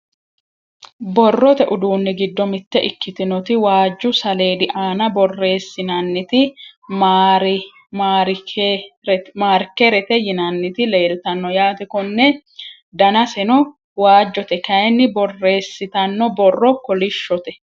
borrote uduunni giddo mitte ikkitinoti waajju saleedi aana borresinanniti maarkerete yinanniti leeltanno yaate konne, danaseno waajjote kayiinni borreesitanno borro kolishshote.